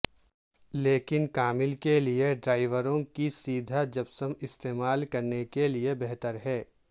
لیکن کامل کے لئے دیواروں کی سیدھ جپسم استعمال کرنے کے لئے بہتر ہے